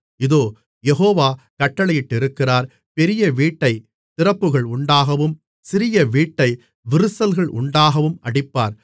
இதோ யெகோவா கட்டளையிட்டிருக்கிறார் பெரிய வீட்டைத் திறப்புகள் உண்டாகவும் சிறிய வீட்டை விரிசல்கள் உண்டாகவும் அடிப்பார்